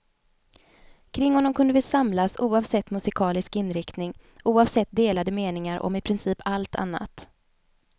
Kring honom kunde vi samlas oavsett musikalisk inriktning, oavsett delade meningar om i princip allt annat.